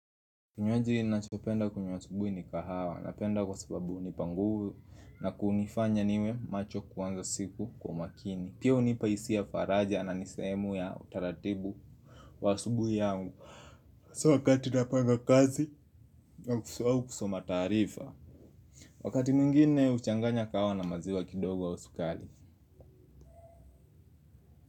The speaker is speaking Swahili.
Kinywaji ninachopenda kunywa asubuhi ni kahawa napenda kwa sababu hunipa nguvu na kunifanya niwe macho kuanza siku kwa umakini pia hunipa hisia ya faraja na ni sehemu ya utaratibu wa asubuhi yangu so wakati napanga kazi au kusoma taarifa. Wakati mwingine huchanganya kahawa na maziwa kidogo au sukari.